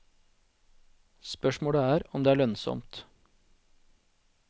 Spørsmålet er om det er lønnsomt.